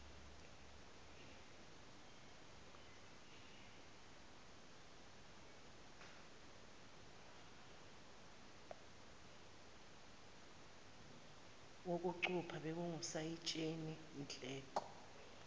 wokucupha bekungusayitsheni nhleko